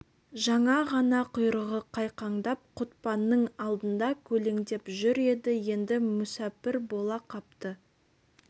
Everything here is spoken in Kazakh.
жаңа ғана құйрығы қайқаңдап құтпанның алдында көлеңдеп жүр еді енді мүсәпір бола қапты